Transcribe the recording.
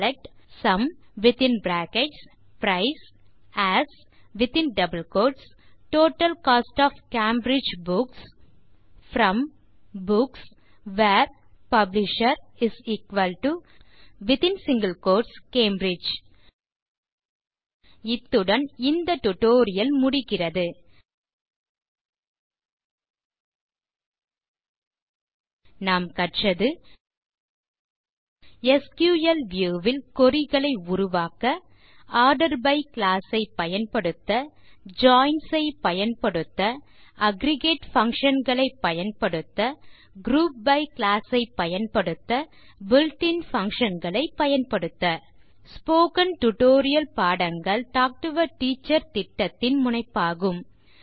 select sum as total cost of Cambridge books from books where publisher Cambridge இத்துடன் இந்த tutorial முடிகிறது நாம் கற்றது எஸ்கியூஎல் வியூ ல் குரி களை உருவாக்க ஆர்டர் பை க்ளாஸ் ஐ பயன்படுத்த ஜாயின்ஸ் ஐ பயன்படுத்த அக்ரிகேட் functionகளை பயன்படுத்த குரூப் பை க்ளாஸ் ஐ பயன்படுத்த பில்ட் இன் பங்ஷன் களைப் பயன்படுத்த ஸ்போகன் டுடோரியல் பாடங்கள் டாக் டு எ டீச்சர் திட்டத்தின் முனைப்பாகும்